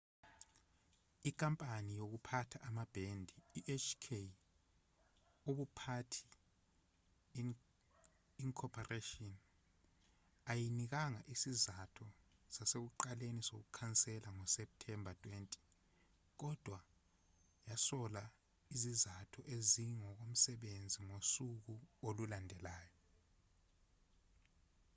inkampani yokuphatha amabhendi ihk ubuphathi inc ayinikanga isizathu sasekuqaleni sokukhansela ngoseptemba 20 kodwa yasola izizathu ezingokomsebenzi ngosuku olulandelayo